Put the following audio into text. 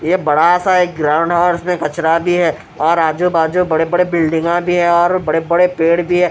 ये बड़ा सा एक ग्राउंड है और इसमें कचरा भी है और आजू-बाजू बड़े-बड़े बिल्डिंगा भी है और बड़े-बड़े पेड़ भी है।